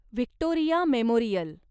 Victoria memorial